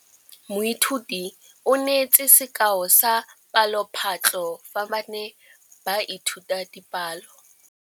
Moithuti o neetse sekaô sa palophatlo fa ba ne ba ithuta dipalo.